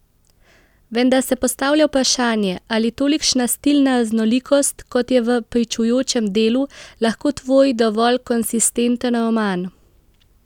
Vendar se postavlja vprašanje, ali tolikšna stilna raznolikost, kot je v pričujočem delu, lahko tvori dovolj konsistenten roman?